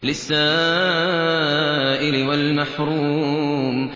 لِّلسَّائِلِ وَالْمَحْرُومِ